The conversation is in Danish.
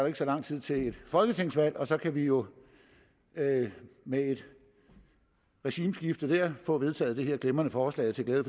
ikke så lang tid til et folketingsvalg og så kan vi jo med med et regimeskifte dér få vedtaget det her glimrende forslag til glæde